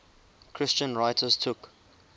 christian writers took